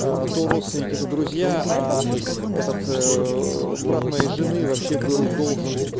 то родственники то друзья этот брат моей жены вообще был должен